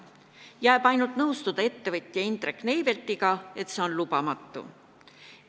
Jääb üle ainult nõustuda ettevõtja Indrek Neiveltiga, et see on lubamatu.